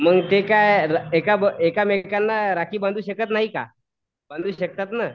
मग ते काय एकमेकांना राखी बंधू शकत नाहीत का बंधू शकतात ना.